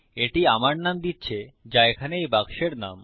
এটি আমার নাম দিচ্ছে যা এখানে এই বাক্সের নাম